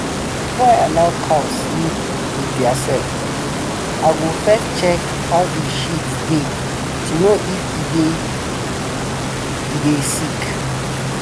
before i allow cow sleep with theirself i go first check how en shit deh to know if e dey e dey sick.